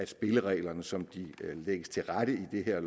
spillereglerne som de lægges til rette i det her